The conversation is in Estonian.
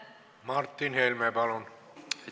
Martin Helme, palun!